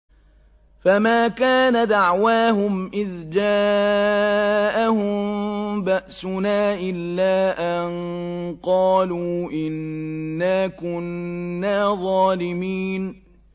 فَمَا كَانَ دَعْوَاهُمْ إِذْ جَاءَهُم بَأْسُنَا إِلَّا أَن قَالُوا إِنَّا كُنَّا ظَالِمِينَ